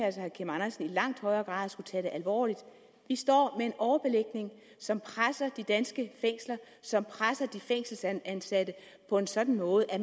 at herre kim andersen i langt højere grad skulle tage alvorligt vi står med en overbelægning som presser de danske fængsler som presser de fængselsansatte på en sådan måde at